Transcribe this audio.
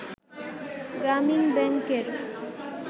গ্রামীণ ব্যাংকের